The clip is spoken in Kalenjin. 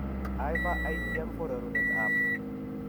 Hyper igM syndrome ko rorunet ab